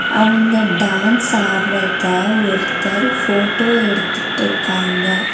அவங்க டான்ஸ் ஆட்ரத ஒருத்தர் ஃபோட்டோ எடுத்துட்டிருக்காங்க.